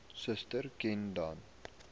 suster ken dan